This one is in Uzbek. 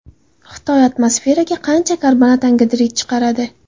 Xitoy atmosferaga qancha karbonat angidrid chiqaradi?